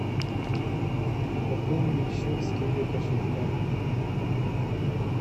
пополнить счет с киви кошелька